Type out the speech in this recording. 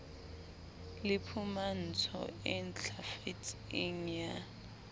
le phumantso e ntlafetseng ya